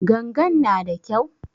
Gangan na da kyau?